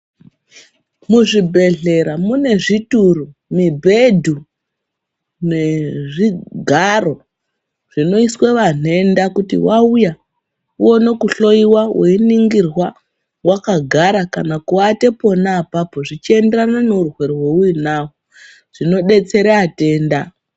Muzvibhehlera mune zvituru, mibhedhu nezvigaro zvinoiswa vanhenda kuti vauya woona kuhlowiwa weiningirwa wakagara kana kuate pona apapo zvichienderana neurwere hweuinahwo, zvinodetsera atenda.